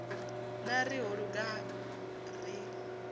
na ri ho luga ri